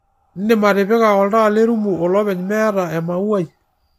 indim atipika oltaa lerumu olopeny meeta emauai